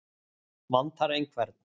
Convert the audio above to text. Vantar einhvern?